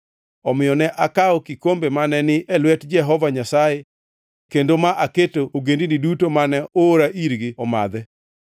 Omiyo ne akawo kikombe mane ni e lwet Jehova Nyasaye kendo ma aketo ogendini duto mane oora irgi omadhe.